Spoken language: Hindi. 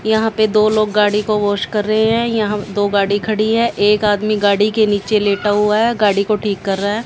यहां पे दो लोग गाड़ी को वॉश कर रहे हैं यहां दो गाड़ी खड़ी है एक आदमी गाड़ी के नीचे लेटा हुआ है गाड़ी को ठीक कर रहा है।